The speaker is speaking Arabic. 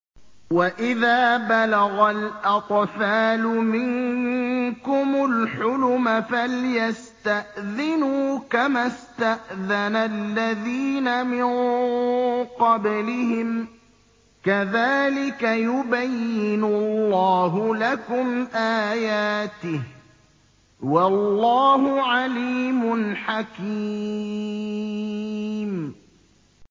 وَإِذَا بَلَغَ الْأَطْفَالُ مِنكُمُ الْحُلُمَ فَلْيَسْتَأْذِنُوا كَمَا اسْتَأْذَنَ الَّذِينَ مِن قَبْلِهِمْ ۚ كَذَٰلِكَ يُبَيِّنُ اللَّهُ لَكُمْ آيَاتِهِ ۗ وَاللَّهُ عَلِيمٌ حَكِيمٌ